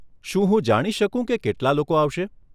શું હું જાણી શકું કે કેટલાં લોકો આવશે?